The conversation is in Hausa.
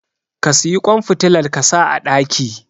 ka siyi kwan fitilar kasa a daki